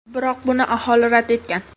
Biroq, buni aholi rad etgan.